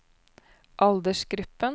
aldersgruppen